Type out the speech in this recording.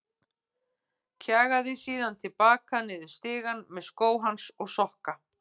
Kjagaði síðan til baka niður stigann með skó hans og sokka.